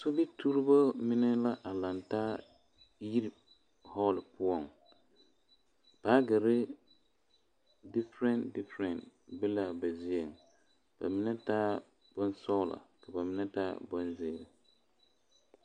Sobituroba mine la a lantaa yiri hoole poɔ baagere difara difara be laa ba zie ba mine taa bonsɔglɔ ka ba mine taa bonziiri.